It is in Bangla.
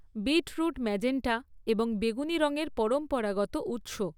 বীটরুট ম্যাজেন্টা এবং বেগুনি রঙের পরম্পরাগত উৎস।